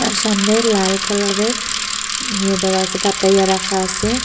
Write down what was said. সামনে লাল কালারের ইয়ে দেওয়া আসে পাতাইয়া রাখা আসে ।